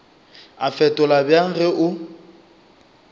a fetola bjang ge o